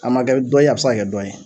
A man kɛ dɔ ye a bɛ se ka kɛ dɔ ye.